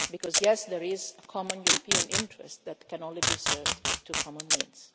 Because, yes, there is a common European interest that can only be served through common means.